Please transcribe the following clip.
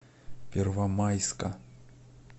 первомайска